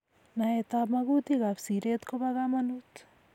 Naetab magutik ab siret ko bo kamanut